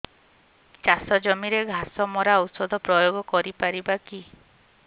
ଚାଷ ଜମିରେ ଘାସ ମରା ଔଷଧ ପ୍ରୟୋଗ କରି ପାରିବା କି